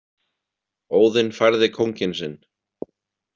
Óðinn færði kónginn sinn.